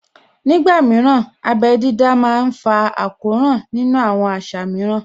Ní ìgbà mìíràn, abẹ́ jíjá má ń fa àkóràn nínú àwọn àṣà mìíràn